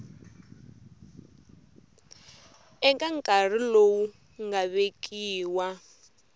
eka nkarhi lowu nga vekiwa